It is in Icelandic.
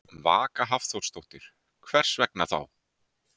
Vaka Hafþórsdóttir: Hvers vegna þá?